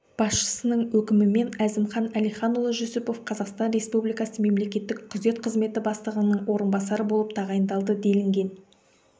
басшысының өкімімен әзімхан әлиханұлы жүсіпов қазақстан республикасы мемлекеттік күзет қызметі бастығының орынбасары болып тағайындалды делінген